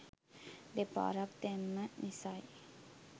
දෙපාරක් දැම්ම නිසයි